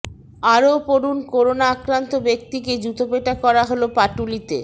আরও পড়ুন করোনা আক্রান্ত ব্যক্তিকে জুতোপেটা করা হল পাটুলিতে